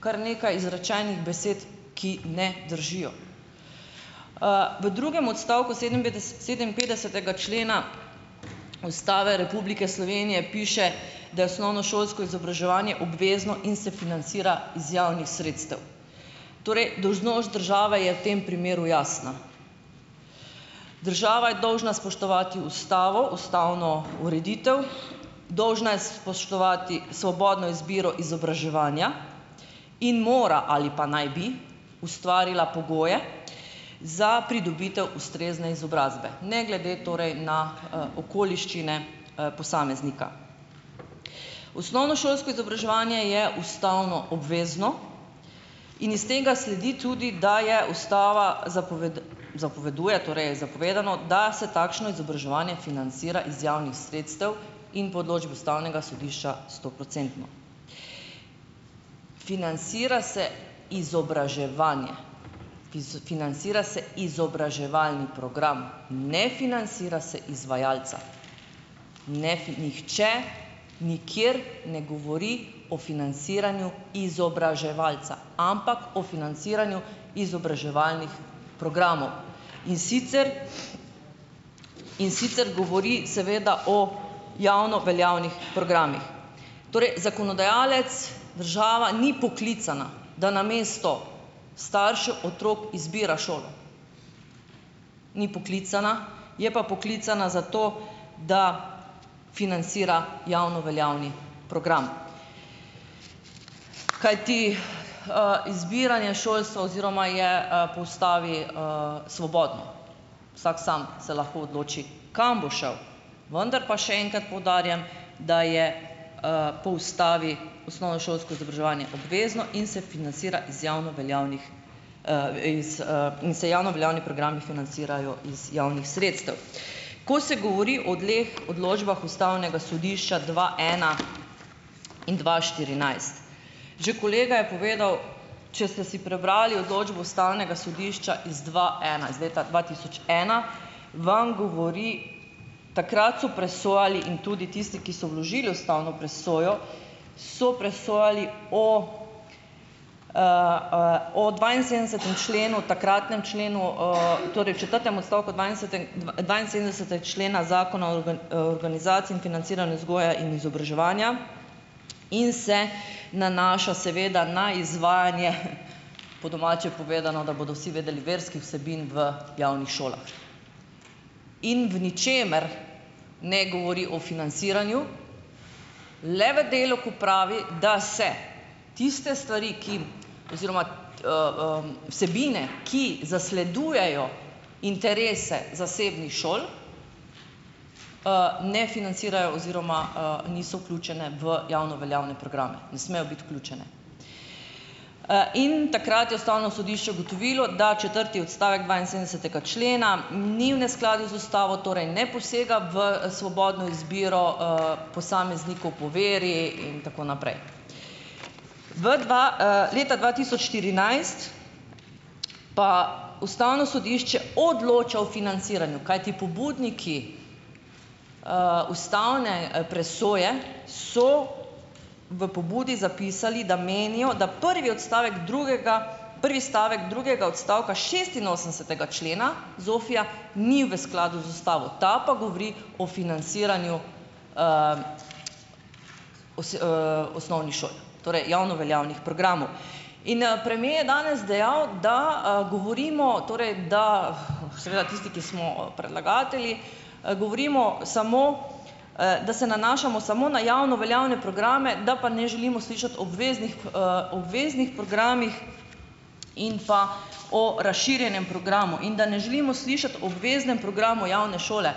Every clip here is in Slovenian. kar nekaj izrečenih besed, ki ne držijo. V drugem odstavku sedeminpetdesetega člena Ustave Republike Slovenije piše, da je osnovnošolsko izobraževanje obvezno in se finansira iz javnih sredstev. Torej, dolžnost države je v tem primeru jasna: država je dolžna spoštovati ustavo, ustavno ureditev, dolžna je spoštovati svobodno izbiro izobraževanja in mora ali pa naj bi ustvarila pogoje za pridobitev ustrezne izobrazbe, ne glede torej na okoliščine posameznika. Osnovnošolsko izobraževanje je ustavno obvezno in iz tega sledi tudi, da je ustava zapoveduje, torej je zapovedano, da se takšno izobraževanje finansira iz javnih sredstev in, po odločbi Ustavnega sodišča, stoprocentno. Finansira se izobraževanje, finansira se izobraževalni program, ne financira se izvajalca. Ne nihče nikjer ne govori o finansiranju izobraževalca, ampak o financiranju izobraževalnih programov, in sicer in sicer govori seveda o javno veljavnih programih. Torej, zakonodajalec, država, ni poklicana, da namesto staršev otrok izbira šolo, ni poklicana, je pa poklicana za to, da finansira javno veljavni program, kajti izbiranje šolstva oziroma je po ustavi svobodno, vsak se lahko sam odloči, kam bo šel. Vendar pa še enkrat poudarjam, da je po ustavi osnovnošolsko izobraževanje obvezno in se finansira iz javno veljavnih is in se javno veljavni programi financirajo iz javnih sredstev. Ko se govori o dveh odločbah Ustavnega sodišča, dva ena in dva štirinajst. Že kolega je povedal - če ste si prebrali odločbo Ustavnega sodišča iz dva ena, iz leta dva tisoč ena -, vam govori, takrat so presojali in tudi tisti, ki so vložili ustavno presojo so presojali o o dvainsedemdesetem členu takratnem členu torej v četrtem odstavku člena Zakona o organizaciji in financiranju vzgoje in izobraževanja, in se nanaša seveda na izvajanje, po domače povedano, da bodo vsi vedeli, verskih vsebin v javnih šolah. In v ničemer ne govori o finansiranju, le v delu, ko pravi, da se tiste stvari, ki oziroma vsebine, ki zasledujejo interese zasebnih šol, ne financirajo oziroma niso vključene v javno veljavne programe, ne smejo biti vključene. In takrat je Ustavno sodišče ugotovilo, da četrti odstavek dvainsedemdesetega člena ni v neskladju z ustavo, torej ne posega v svobodno izbiro posameznikov po veri in tako naprej. V leta dva tisoč štirinajst pa Ustavno sodišče odloča o finansiranju, kajti pobudniki ustavne presoje so v pobudi zapisali, da menijo, da prvi odstavek drugega prvi stavek drugega odstavka šestinosemdesetega člena ZOFI-ja ni v skladu z ustavo, ta pa govori o finansiranju osi osnovnih šoli, torej javno veljavnih programov. In premier je danes dejal, da govorimo, torej da seveda tisti, ki smo predlagatelji govorimo samo da se nanašamo samo na javno veljavne programe, da pa ne želimo slišati o obveznih obveznih programih in pa o razširjenem programu, da ne želimo slišati o obveznem programu javne šole.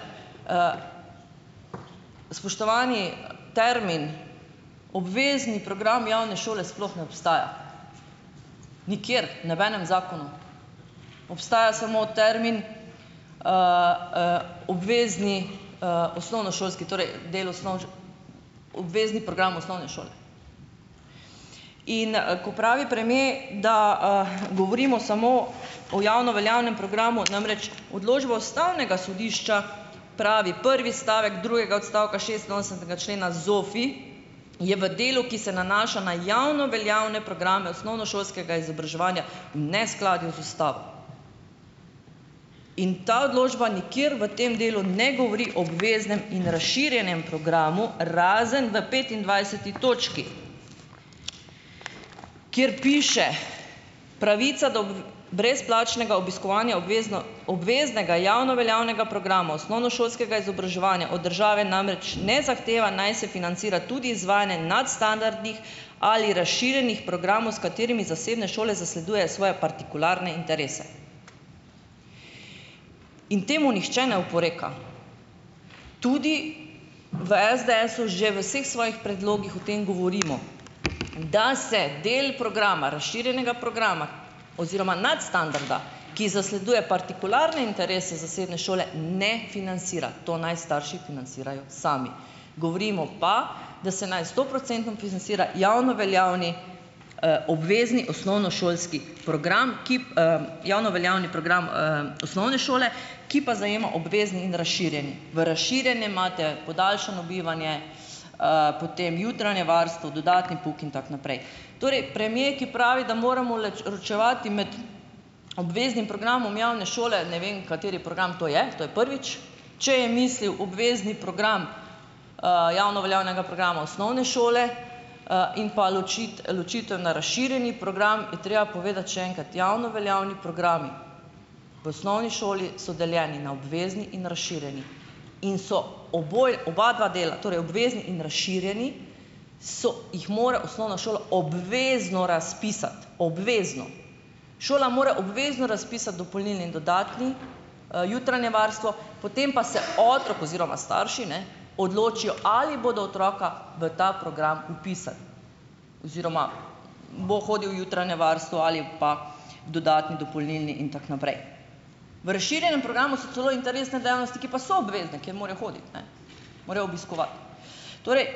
Spoštovani, termin "obvezni program javne šole" sploh ne obstaja, nikjer, v nobenem zakonu, obstaja samo termin "obvezni osnovnošolski torej del obvezni program osnovne šole". In ko pravi premier, da govorimo samo o javno veljavnem programu, namreč odločba Ustavnega sodišča pravi, prvi stavek drugega odstavka šestinosemdesetega člena ZOFI, je v delu, ki se nanaša na javno veljavne programe osnovnošolskega izobraževanja v neskladju z Ustavo. In ta odločba nikjer v tem delu ne govori obveznem in razširjenem o programu, razen v petindvajseti točki, kjer piše: Pravica do brezplačnega obiskovanja obvezno obveznega javno veljavnega programa osnovnošolskega izobraževanja od države namreč ne zahteva, naj se financira tudi izvajanje nadstandardnih ali razširjenih programov, s katerimi zasebne šole zasledujejo svoje partikularne interese. In temu nihče ne oporeka, tudi v SDS-u že v vseh svojih predlogih o tem govorimo, da se del programa, razširjenega programa oziroma nadstandarda, ki zasleduje partikularne interese zasebne šole, ne finansira. To naj starši financirajo sami. Govorimo pa, da se naj stoprocentno finansira javno veljavni obvezni osnovnošolski program, ki javno veljavni program osnovne šole, ki pa zajema obvezni in razširjeni. V razširjenem imate podaljšano bivanje, potem jutranje varstvo, dodatni pouk in tako naprej. Torej, premier, ki pravi, da moramo ročevati med obveznim programom javne šole, ne vem kateri program to je, to je prvič, če je mislil obvezni program javno veljavnega programa osnovne šole, in pa ločitev na razširjeni program je treba povedati še enkrat, javno veljavni programi v osnovni šoli so deljeni na obvezni in razširjeni. In so oboje oba dva dela, torej obvezni in razširjeni, so, jih mora osnovna šola obvezno razpisati, obvezno. Šola mora obvezno razpisati dopolnilni in dodatni, jutranje varstvo, potem pa se otrok oziroma starši, ne, odločijo, ali bodo otroka v ta program vpisali oziroma bo hodil v jutranje varstvo ali pa dodatni, dopolnilni in tako naprej. V razširjenem programu so celo interesne dejavnosti, ki pa so obvezne, ki morajo hoditi, ne morajo obiskovati. Torej,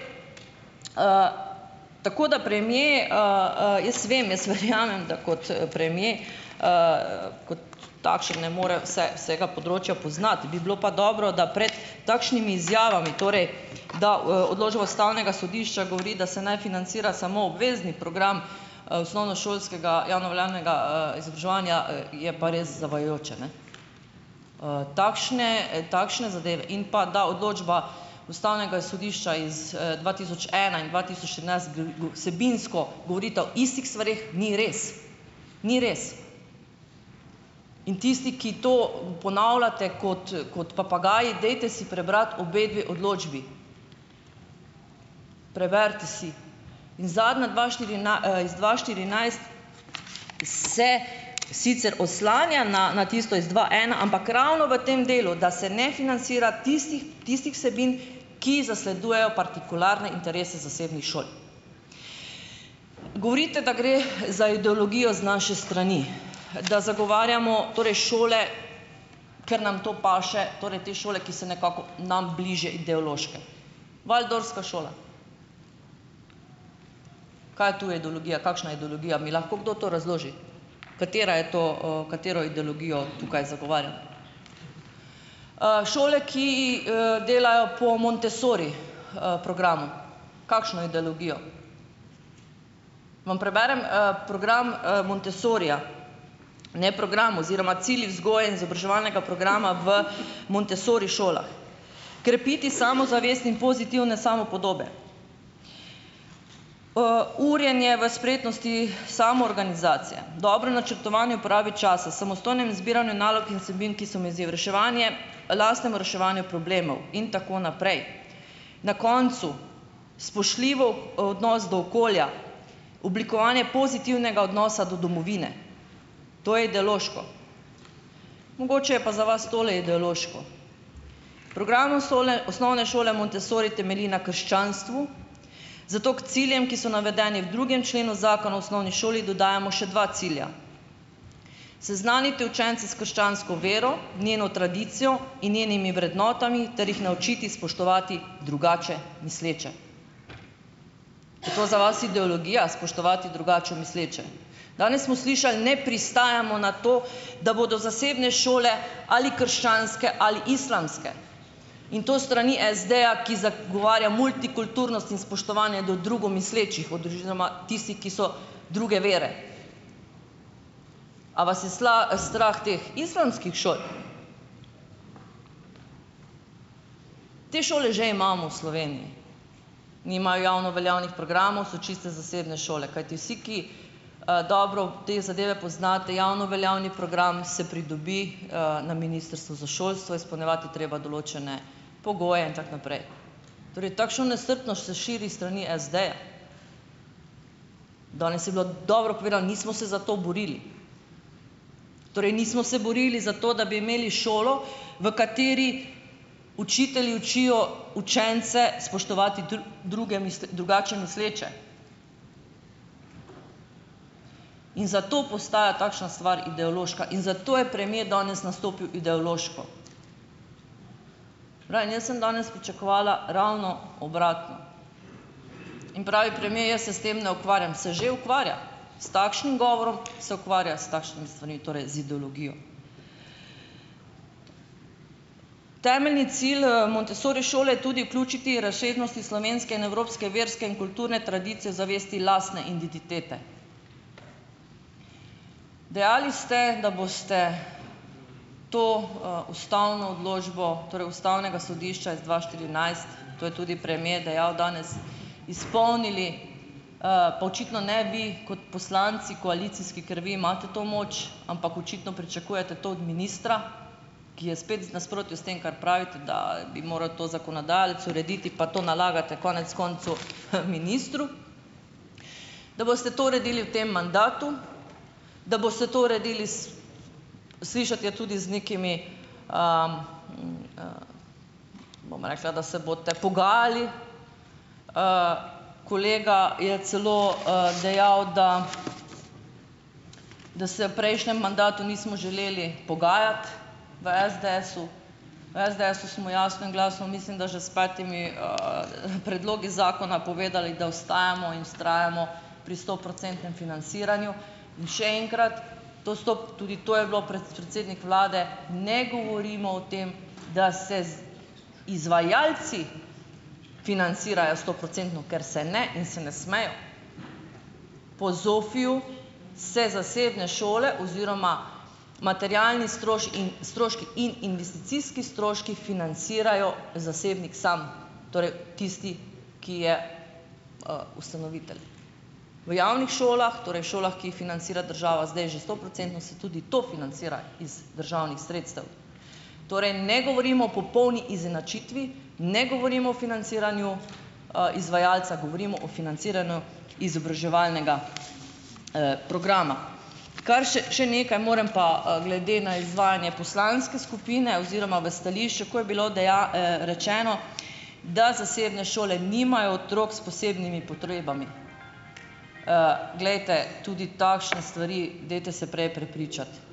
tako da premier, jaz vem, jaz verjamem, da kot premier kot takšen ne more vse vsega področja poznati. Bi bilo pa dobro, da pred takšnimi izjavami, torej da odločba Ustavnega sodišča govori, da se naj financira samo obvezni program osnovnošolskega javno veljavnega izobraževanja je pa res zavajajoče, ne. Takšne takšne zadeve in pa da odločba Ustavnega sodišča iz dva tisoč ena in dva tisoč trinajst vsebinsko govorita o istih stvareh, ni res. Ni res. In tisti, ki to ponavljate kot kot papagaji, dajte si prebrati obe dve odločbi. Preberite si. In zadnja dva iz dva štirinajst se sicer oslanja na na tisto iz dva ena, ampak ravno v tem delu, da se ne financira tistih tistih vsebin, ki zasledujejo partikularne interese zasebnih šol. Govorite, da gre za ideologijo z naše strani, da zagovarjamo torej šole, ker nam to paše, torej te šole, ki so nekako nam bliže ideološke. Waldorfska šola. Kaj je to ideologija? Kakšna ideologija? A mi lahko to kdo razloži? Katera je to, katero ideologijo tukaj zagovarjamo? Šole, ki delajo po Montessori programu. Kakšno ideologijo? Vam preberem program Montessorija? Ne program, oziroma cilji vzgoje in izobraževalnega programa v Montessori šolah: krepiti samozavest in pozitivne samopodobe, urjenje v spretnosti samoorganizacije, dobro načrtovanje uporabe časa, samostojnem izbiranju nalog in vsebin, ki so mi izziv, reševanje lastnemu reševanju problemov in tako naprej. Na koncu: spoštljivo odnos do okolja, oblikovanje pozitivnega odnosa do domovine. To je ideološko? Mogoče je pa za vas tole ideološko: Program osnovne šole Montessori temelji na krščanstvu, zato ker ciljem, ki so navedeni v drugem členu zakona o osnovni šoli dodajamo še dva cilja: seznaniti učence s krščansko vero, njeno tradicijo in njenimi vrednotami ter jih naučiti spoštovati drugače misleče. Je to za vas ideologija spoštovati drugače misleče? Danes smo slišali: ne pristajamo na to, da bodo zasebne šole ali krščanske ali islamske in to s strani SD-ja, ki zagovarja multikulturnost in spoštovanje do drugo mislečih odužizoma tistih, ki so druge vere. A vas je strah teh islamskih šol? Te šole že imamo v Sloveniji, nimajo javno veljavnih programov, so čiste zasebne šole, kajti vsi, ki dobro te zadeve poznate, javno veljavni program se pridobi na Ministrstvu za šolstvo, izpolnjevati je treba določene pogoje in tako naprej. Torej takšno nestrpnost se širi s strani SD-ja. Danes je bilo dobro povedano - nismo se za to borili, torej nismo se borili za to, da bi imeli šolo, v kateri učitelji učijo učence spoštovati druge drugače misleče in zato postaja takšna stvar ideološka in za to je premier danes nastopil ideološko. Saj pravim, jaz sem danes pričakovala ravno obratno in pravi premier: "Jaz se s tem ne ukvarjam" - se že ukvarja, s takšnim govorom, se ukvarja s takšnimi stvarmi, torej z ideologijo. Temeljni cilj Montessori šole je tudi vključiti razsežnosti slovenske in evropske verske in kulturne tradicije z zavesti lastne identitete. Dejali ste, da boste to ustavno odločbo, torej ustavnega sodišča is dva štirinajst, to je tudi premije dejal danes, izpolnili. Pa očitno ne bi kot poslanci koalicijski, ker vi imate to moč, ampak očitno pričakujete to od ministra, ki je spet z nasprotju s tem, kar pravite, da bi moral to zakonodajalec urediti, pa to nalagate konec koncev ministru. Da boste to uredili v tem mandatu, da boste to uredili - s slišati je tudi z nekimi, bom rekla, da se boste pogajali. Kolega je celo dejal, da da se v prejšnjem mandatu nismo želeli pogajati v SDS-u. V SDS-u smo jasno in glasno mislim, da že s petimi predlogi zakona povedali, da ostajamo in vztrajamo pri stoprocentnem finansiranju in še enkrat - ti tudi to je bilo predsednik vlade, ne govorimo o tem, da se z izvajalci financirajo stoprocentno, ker se ne in se ne smejo. Po ZOFI-ju se zasebne šole oziroma materialni in stroški in investicijski stroški financirajo zasebnik samo, torej tisti, ki je ustanovitelj. V javnih šolah, torej šolah, ki jih financira država zdaj že stoprocentno, se tudi to financira iz državnih sredstev. Torej ne govorimo o popolni izenačitvi, ne govorimo o financiranju izvajalca, govorimo o financiranju izobraževalnega programa. Kar še, še nekaj moram pa glede na izvajanje poslanske skupine oziroma v stališču, ko je bilo rečeno, da zasebne šole nimajo otrok s posebnimi potrebami. Glejte, tudi takšne stvari, dajte se prej prepričati.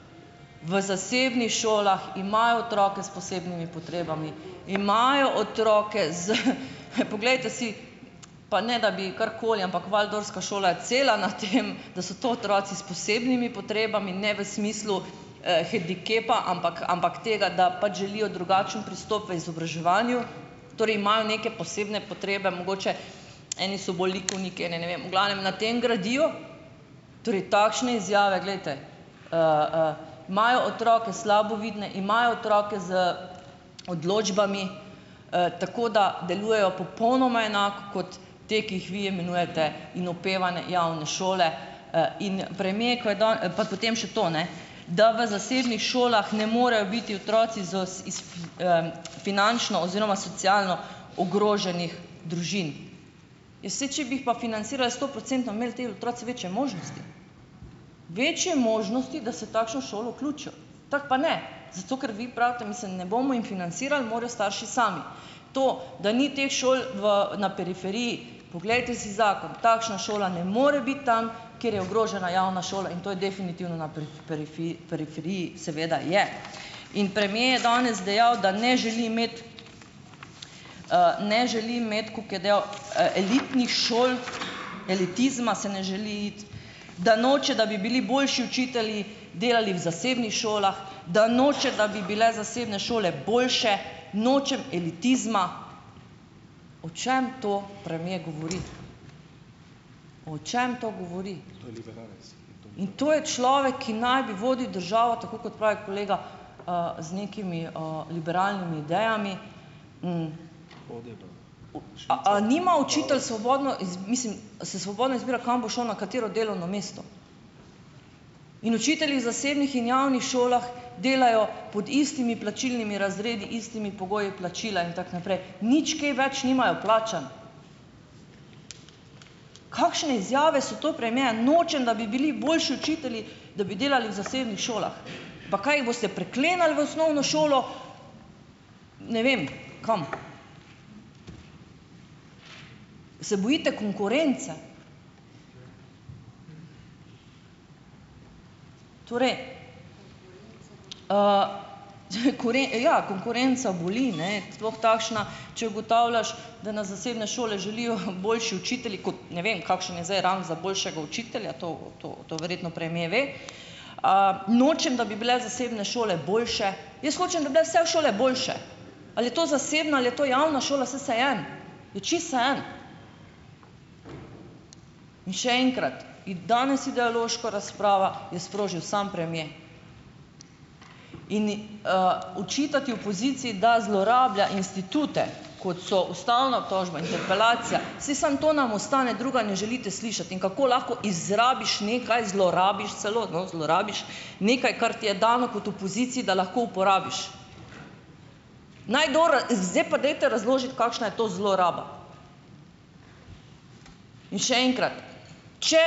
V zasebnih šolah imajo otroke s posebnimi potrebami, imajo otroke z... Poglejte si, pa ne, da bi karkoli, ampak Waldorfska šola je cela na tem, da so to otroci s posebnimi potrebami, ne v smislu hendikepa, ampak ampak tega, da pač želijo drugačen pristop v izobraževanju. Torej imajo neke posebne potrebe, mogoče eni so bolj likovniki, eni ne vem ... V glavnem na tem gradijo, torej takšne izjave, glejte, imajo otroke slabovidne, imajo otroke z odločbami, tako da delujejo popolnoma enako kot te, ki jih vi imenujete, in opevane javne šole in premier, ko je Pa potem še to, ne, da v zasebnih šolah ne morejo biti otroci iz finančno oziroma socialno ogroženih družin. Ja, saj, če bi jih pa financirali stoprocentno bi imeli tile otroci večje možnosti, večje možnosti, da se v takšno šolo vključijo, tako pa ne, zato, ker vi pravite: "mislim, ne bomo jim financirali, morajo starši sami". To, da ni teh šol v na periferiji, poglejte si zakon - takšna šola ne more biti tam, kjer je ogrožena javna šola in to je definitivno na periferiji, seveda je. In premier je danes dejal, da ne želi imeti, ne želi imeti, koliko je dejal, elitnih šol, elitizma se ne želi iti, da noče, da bi bili boljši učitelji, delali v zasebnih šolah, da noče, da bi bile zasebne šole boljše, nočem elitizma ... O čem to premier govori? O čem to govori? In to je človek, ki naj bi vodil državo, tako kot pravi kolega, z nekimi liberalnimi idejami. A a nima učitelj svobodno mislim, se svobodno izbira kam bo šel, na katero delovno mesto? In učitelji v zasebnih in javnih šolah delajo pod istimi plačilnimi razredi, istimi pogoji plačila in tako naprej, nič kaj več nimajo plačano. Kakšne izjave so to premierja: Nočem, da bi bili boljši učitelji, da bi delali v zasebnih šolah. Pa kaj, jih boste priklenili v osnovno šolo ne vem kam? Se bojite konkurence? Torej, ja, konkurenca boli, ne, sploh takšna, če ugotavljaš, da na zasebne šole želijo boljši učitelji kot, ne vem, kakšen je zdaj rang za boljšega učitelja, to to verjetno premier ve. Nočem, da bi bile zasebne šole boljše, jaz hočem, da bi bile vse šole boljše. Ali je to zasebna, ali je to javna šola, saj vseeno. To je čisto vseeno. In še enkrat: Danes ideološka razprava je sprožil sam premier. Ini očitati opoziciji, da zlorablja institute, kot so ustavna obtožba, interpelacija, saj samo to nam ostane, druga ne želite slišati. In kako lahko izrabiš nekaj, zlorabiš celo, no, zlorabiš nekaj, kar ti je dano kot opoziciji, da lahko uporabiš. Naj kdo zdaj pa dajte razložiti, kakšna je to zloraba? In še enkrat, če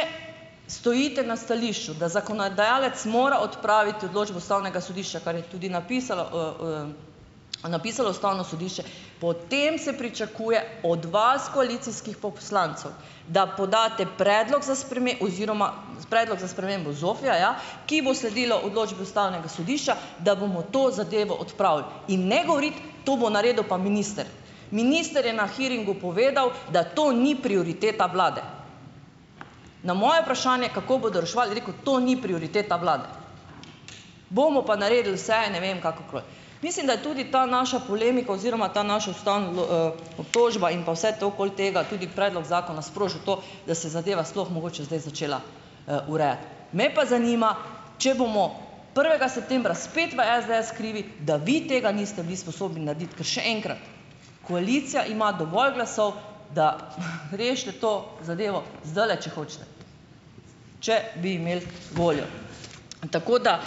stojite na stališču, da zakonodajalec mora odpraviti odločbo Ustavnega sodišča, kar je tudi napisalo napisalo Ustavno sodišče, potem se pričakuje od vas, koalicijskih poslancev, da podate predlog za oziroma predlog za spremembo ZOFI-ja, ja, ki bo sledila odločba Ustavnega sodišča, da bomo to zadevo odpravili. In ne govoriti, to bo naredil pa minister. Minister je na hearingu povedal, da to ni prioriteta vlade. Na moje vprašanje, kako bodo reševali, je rekel: To ni prioriteta vlade, bomo pa naredili vse, ne vem, kakorkoli. Mislim, da je tudi ta naša polemika oziroma ta naša obtožba in pa vse to okoli tega, tudi predloga zakona, sprožil to, da se je zadeva sploh mogoče zdaj začela urejati. Me pa zanima, če bomo prvega septembra spet v SDS krivi, da vi tega niste bili spodobni narediti, ker še enkrat: Koalicija ima dovolj glasov, da rešite to zadevo zdajle, če hočete, če bi imeli voljo, tako da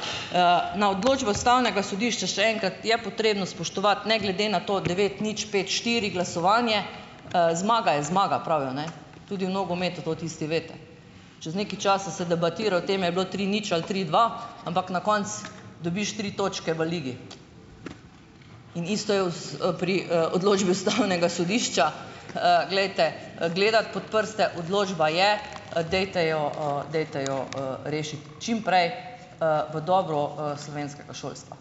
na odločbo Ustavnega sodišča, še enkrat, je potrebno spoštovati ne glede na to devet nič, pet štiri glasovanje, zmaga je zmaga pravijo, ne. Tudi v nogometu, to tisti veste. Čas nekaj časa se debatira o tem, ali je bilo tri nič ali tri dva, ampak na koncu dobiš tri točke v ligi in isto je pri odločbi Ustavnega sodišča, glejte, gledati pod prste, odločba je, dajte jo dajte jo rešiti čim prej v dobro slovenskega šolstva.